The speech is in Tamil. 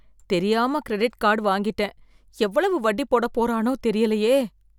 தெரியாம கிரெடிட் கார்டு வாங்கிட்டேன் எவ்வளவு வட்டி போட போறானோ தெரியலையே.